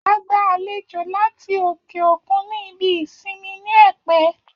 A gba àlejò láti òkè òkun ní ibi ìsinmi ní Ẹ̀pẹ́